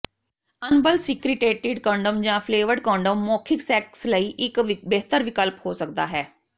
ਅਨਬਲਸੀਕ੍ਰੀਟੇਟਿਡ condom ਜਾਂ flavoured condom ਮੌਖਿਕ sex ਲਈ ਇੱਕ ਬਿਹਤਰ ਵਿਕਲਪ ਹੋ ਸਕਦਾ ਹੈ